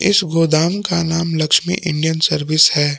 इस गोदाम का नाम लक्ष्मी इंडियन सर्विस है।